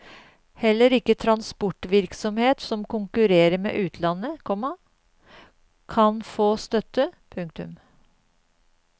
Heller ikke transportvirksomhet som konkurrerer med utlandet, komma kan få støtte. punktum